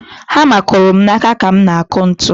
Hama kụrụ m n'aka ka m na-akụ ntu.